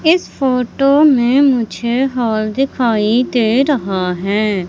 इस फोटो में मुझे हॉल दिखाई दे रहा है।